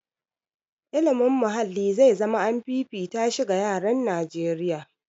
Ilimin muhalli zai zama an fifita shi ga yaran Najeriya.